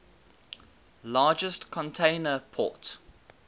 largest container port